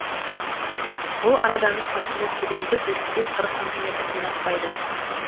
бұл арадағы қазіргі тереңдік отыз бес қырық сантиметрден аспайды